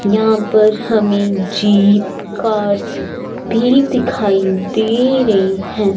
यहां पर हमें जीप कार्स भी दिखाई दे रही हैं।